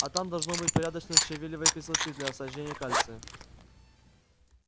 а там должно быть порядочно щавелевой кислоты для осаждения кальция